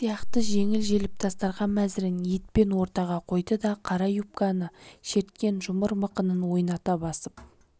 сияқты жеңіл-желіп дастарқан мәзірін еппен ортаға қойды да қара юбканы шерткен жұмыр мықынын ойната басып